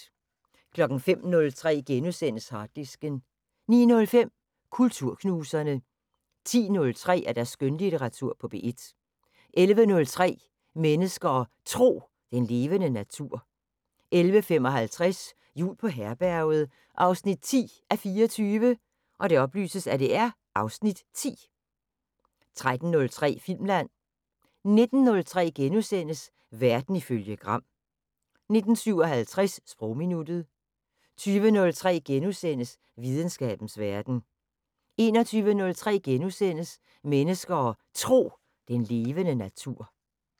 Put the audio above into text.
05:03: Harddisken * 09:05: Kulturknuserne 10:03: Skønlitteratur på P1 11:03: Mennesker og Tro: Den levende natur 11:55: Jul på Herberget 10:24 (Afs. 10) 13:03: Filmland 19:03: Verden ifølge Gram * 19:57: Sprogminuttet 20:03: Videnskabens Verden * 21:03: Mennesker og Tro: Den levende natur *